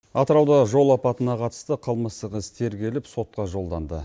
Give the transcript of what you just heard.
атырауда жол апатына қатысты қылмыстық іс тергеліп сотқа жолданды